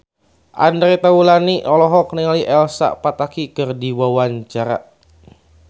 Andre Taulany olohok ningali Elsa Pataky keur diwawancara